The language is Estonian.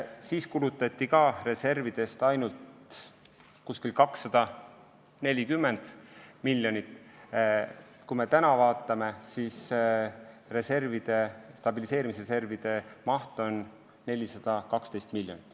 Siis kulutati stabiliseerimisreservist umbes 240 miljonit, praegu on selle reservi maht 412 miljonit.